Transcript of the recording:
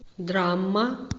драма